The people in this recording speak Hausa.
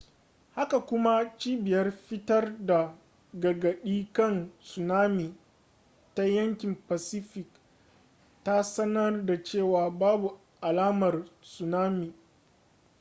haka kuma cibiyar fitar da gargaɗi kan tsunami ta yankin pacific ta sanar da cewa babu alamar tsunami